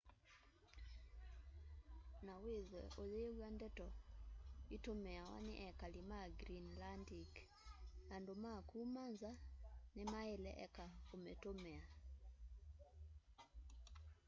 na withwe uyiw'a ndeto itumiawa ni ekali ma greenlandic andu ma kuma nza nimaila eka umitumia